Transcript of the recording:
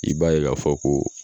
I b'a ye k'a fɔ ko